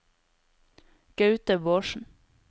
Gaute Bårdsen